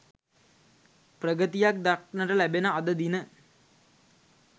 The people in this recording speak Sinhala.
ප්‍රගතියක් දක්නට ලැබෙන අද දින